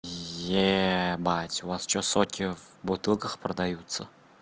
ебать у вас что соки в бутылках продаются